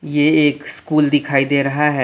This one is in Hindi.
ये एक स्कूल दिखाई दे रहा है।